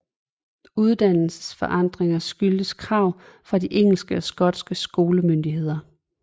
Uddannelsens forandringer skyldtes krav fra de engelske og skotske skolemyndigheder